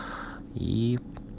и